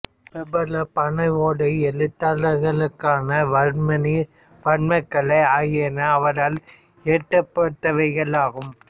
பிரபல பனை ஓலை எழுத்தாக்கங்களான வர்மாணி வர்மக்கலை ஆகியன அவரால் இயற்றப்பட்டவைகளாகும்